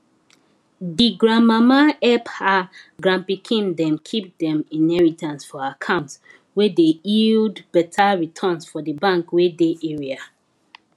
di grandmama hep her grandpikin dem kip dem inheritance for account wey dey yield beta returns for di bank wey dey area